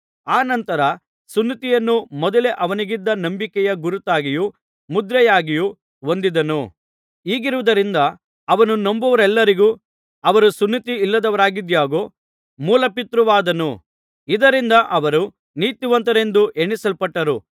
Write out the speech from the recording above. ಅನಂತರ ಸುನ್ನತಿಯನ್ನು ಮೊದಲೇ ಅವನಿಗಿದ್ದ ನಂಬಿಕೆಯ ಗುರುತಾಗಿಯೂ ಮುದ್ರೆಯಾಗಿಯೂ ಹೊಂದಿದನು ಹೀಗಿರುವುದರಿಂದ ಅವನು ನಂಬುವವರೆಲ್ಲರಿಗೂ ಅವರು ಸುನ್ನತಿಯಿಲ್ಲದವರಾಗಿದಾಗ್ಯೂ ಮೂಲಪಿತೃವಾದನು ಇದರಿಂದ ಅವರು ನೀತಿವಂತರೆಂದು ಎಣಿಸಲ್ಪಟ್ಟರು